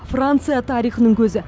франция тарихының көзі